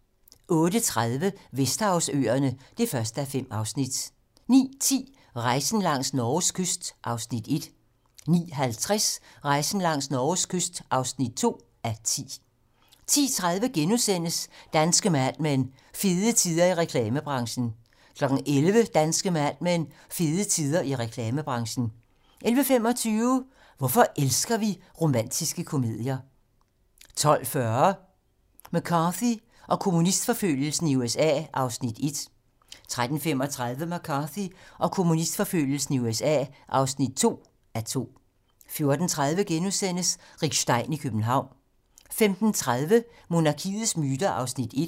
08:30: Vesterhavsøerne (1:5) 09:10: Rejsen langs Norges kyst (1:10) 09:50: Rejsen langs Norges kyst (2:10) 10:30: Danske Mad Men: Fede tider i reklamebranchen * 11:00: Danske Mad Men: Fede tider i reklamebranchen 11:25: Hvorfor elsker vi romantiske komedier? 12:40: McCarthy og kommunistforfølgelsen i USA (1:2) 13:35: McCarthy og kommunistforfølgelsen i USA (2:2) 14:30: Rick Stein i København * 15:30: Monarkiets myter (1:6)